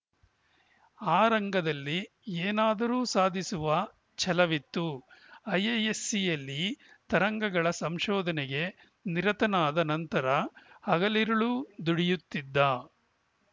ಆ ರಂಗದಲ್ಲಿ ಏನಾದರೂ ಸಾಧಿಸುವ ಛಲವಿತ್ತು ಐಐಎಸ್‌ಸಿಯಲ್ಲಿ ತರಂಗಗಳ ಸಂಶೋಧನೆಗೆ ನಿರತನಾದ ನಂತರ ಹಗಲಿರುಳು ದುಡಿಯುತ್ತಿದ್ದ